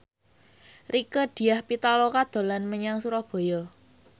Rieke Diah Pitaloka dolan menyang Surabaya